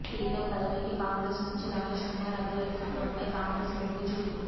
speaker పదవికి కాంగ్రెస్ నుంచి రమేష్ కుమార్ అభ్యర్థిత్వంపై కాంగ్రెస్ మొగ్గుచూపింది